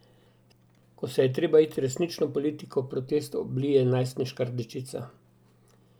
Ko se je treba iti resnično politiko, protest oblije najstniška rdečica.